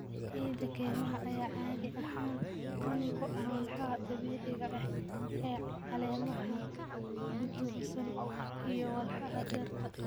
Ciida kaymaha ayaa caadi ahaan qani ku ah walxaha dabiiciga ah ee caleemaha qudhunsan iyo walxaha dhirta.